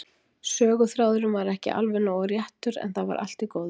Söguþráðurinn var ekki alveg nógu réttur, en það var allt í góðu.